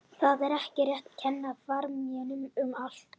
Það er ekki rétt að kenna framherjunum um allt.